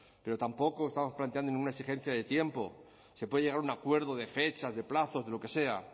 pero tampoco lo estamos planteando en una exigencia de tiempo se puede llegar a un acuerdo de fechas de plazos de lo que sea